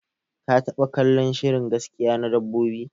Ka taba kallon shirin gaskiya na dabbobi?